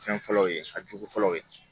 Fɛn fɔlɔw ye a jugu fɔlɔw ye